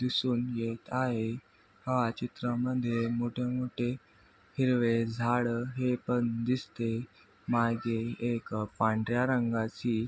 दिसून येत आहे हा चित्रामध्ये मोठे मोठे हिरवे झाड हे पण दिसते मागे एक पांढऱ्या रंगाची--